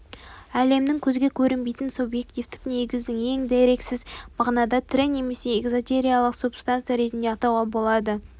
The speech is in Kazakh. әлемнің көзге көрінбейтін субъективтік негізін ең дерексіз мағынада тірі немесе эзотериялық субстанция ретінде атауға болады